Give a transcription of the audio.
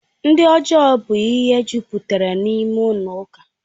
Ndị ọjọọ bụ ihe jupụtara n'ime ụlọ ụka